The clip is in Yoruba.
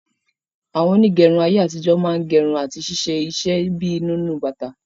Àwọn onígẹrun ayé àtijó máa n gerun àti ṣíṣe iṣẹ bíi nínú bàtà